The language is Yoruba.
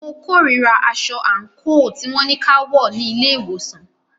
Mo kòrira aṣọ àńkò tí wọn ní kí a wọ̀ ní ilé ìwòsàn.